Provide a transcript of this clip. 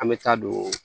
An bɛ taa don